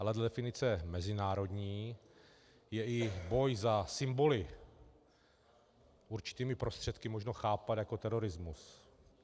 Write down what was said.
Ale dle definice mezinárodní je i boj za symboly určitými prostředky možno chápat jako terorismus.